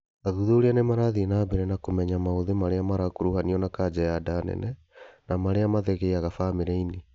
Athuthuria nĩmarathiĩ na mbere na kũmenya maũthĩ marĩa marakuruhanio na kanja ya nda nene na marĩa mathegeaga bamĩrĩ-inĩ